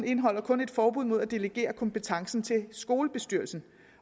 indeholder kun et forbud mod at delegere kompetencen til skolebestyrelsen